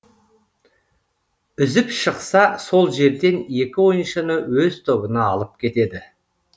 үзіп шықса сол жерден екі ойыншыны өз тобына алып кетеді